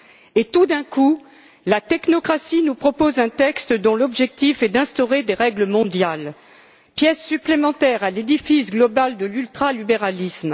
et, tout d'un coup, la technocratie nous propose un texte dont l'objectif est d'instaurer des règles mondiales, pièce supplémentaire à l'édifice globale de l'ultra libéralisme.